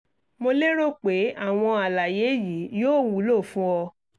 mo lérò pé àwọn àlàyé yìí yóò wúlò fún ọ